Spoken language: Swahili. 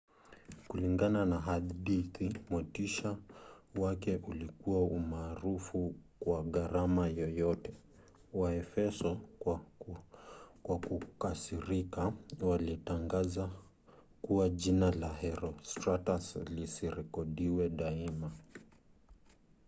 kulingana na hadithi motisha wake ulikuwa umaarufu kwa gharama yoyote. waefeso kwa kukasirika walitangaza kuwa jina la herostratus lisirekodiwe daima